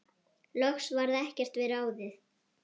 Loks varð ekkert við ráðið.